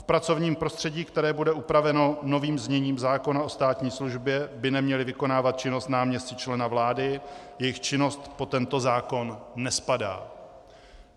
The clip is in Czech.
V pracovním prostředí, které bude upraveno novým zněním zákona o státní službě, by neměli vykonávat činnost náměstci člena vlády, jejich činnost pod tento zákon nespadá.